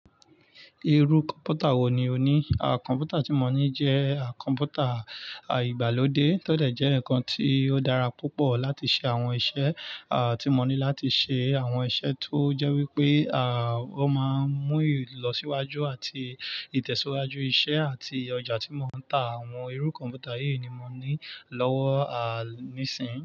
Irú kọ̀ǹpútà wò ní o ní? Kọ̀ǹpútà tí mo ní jẹ́ kọ̀ǹpútà ìgbàlódé tọ dẹ̀ jẹ́ ǹkan tí ó dára púpọ̀ láti ṣe àwọn iṣẹ́. Tí mo ní láti ṣe àwọn iṣẹ́ tó jẹ́ wípé ó máa ń mú ìlọsíwájú àti ìtẹ̀síwájú iṣẹ́ àti ọjà tí mò ń tà. Àwọn irú kọ̀ǹpútà yìí ni mò ní lọ́wọ́ nísìyí.